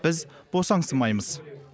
біз босаңсымаймыз